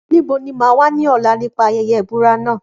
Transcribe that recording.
Níbo ni mà á wà ní ọ̀la nípa ayẹyẹ ìbúra náà?